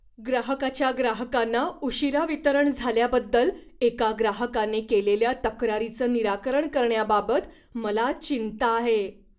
ग्राहकाच्या ग्राहकांना उशीरा वितरण झाल्याबद्दल एका ग्राहकाने केलेल्या तक्रारीचं निराकरण करण्याबाबत मला चिंता आहे.